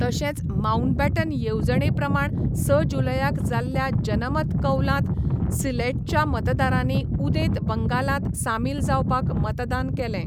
तशेंच माउंटबॅटन येवजणेप्रमाण स जुलयाक जाल्ल्या जनमत कौलांत सिलेटच्या मतदारांनी उदेंत बंगालांत सामील जावपाक मतदान केलें.